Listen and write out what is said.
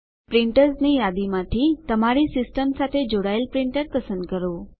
પ્રિંટર્સની યાદીમાંથી તમારી સિસ્ટમ સાથે જોડાયેલ પ્રિન્ટર પસંદ કરો